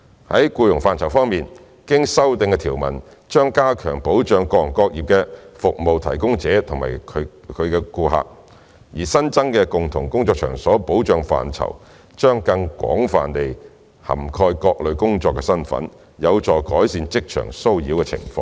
在僱傭範疇方面，經修訂的條文將加強保障各行各業的服務提供者及其顧客，而新增的"共同工作場所"保障範疇，將更廣泛地涵蓋各類工作身份，有助改善職場騷擾的情況。